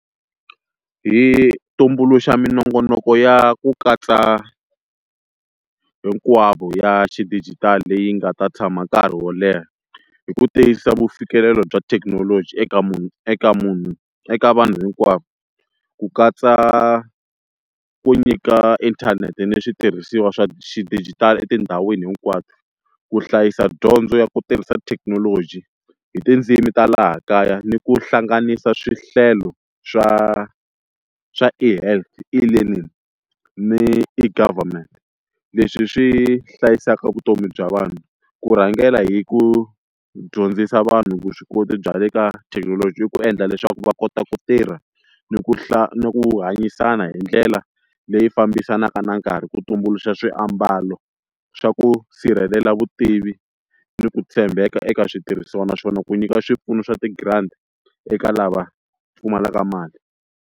Hi tumbuluxa minongonoko ya ku katsa hinkwavo ya xidijitali leyi nga ta tshama nkarhi wo leha hi ku tiyisisa vufikelelo bya thekinoloji eka munhu eka munhu eka munhu eka vanhu hinkwavo ku katsa ku nyika inthanete ni switirhisiwa swa xidijitali etindhawini hinkwato ku hlayisa dyondzo ya ku tirhisa thekinoloji hi tindzimi ta laha kaya ni ku hlanganisa swihlelo swa swa ehealth elearning ni e-government, leswi swi hlayisaka vutomi bya vanhu ku rhangela hi ku dyondzisa vanhu vuswikoti bya le ka thekinoloji i ku endla leswaku va kota ku tirha ni ku ku hanyisana hi ndlela leyi fambisanaka na nkarhi ku tumbuluxa swiambalo swa ku sirhelela vutivi ni ku tshembeka eka switirhisiwa naswona ku nyika swipfuno swa ti-grant eka lava pfumalaka mali.